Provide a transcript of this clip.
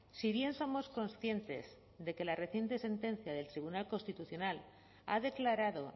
si bien somos conscientes de que la reciente sentencia del tribunal constitucional ha declarado